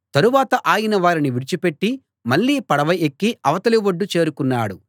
తరువాత ఆయన వారిని విడిచిపెట్టి మళ్ళీ పడవ ఎక్కి అవతలి ఒడ్డు చేరుకున్నాడు